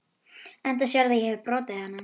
Enda sérðu að ég hefi brotið hana.